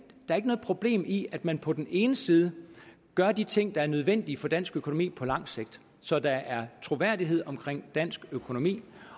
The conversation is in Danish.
er ikke noget problem i at man på den ene side gør de ting der er nødvendige for dansk økonomi på lang sigt så der er troværdighed omkring dansk økonomi